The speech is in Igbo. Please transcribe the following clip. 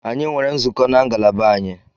Anyi nwere nzukọ na ngalaba anyị